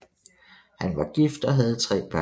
Han var gift og havde tre børn